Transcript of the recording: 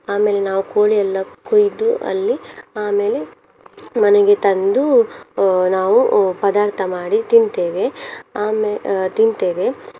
ಆಮೇಲೆ ನಾವು ಕೋಳಿ ಎಲ್ಲ ಕೊಯ್ದು ಅಲ್ಲಿ ಆಮೇಲೆ ಮನೆಗೆ ತಂದು ಅಹ್ ನಾವು ಪದಾರ್ಥ ಮಾಡಿ ತಿಂತೇವೆ ಅಮೇ~ ಅಹ್ ತಿಂತೇವೆ.